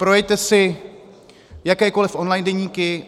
Projeďte si jakékoli online deníky.